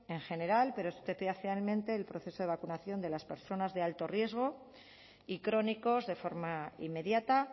en general pero especialmente el proceso de vacunación de las personas de alto riesgo y crónicos de forma inmediata